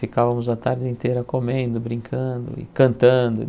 Ficávamos a tarde inteira comendo, brincando e cantando.